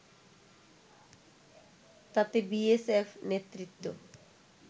তাতে বিএসএফ নেতৃত্ব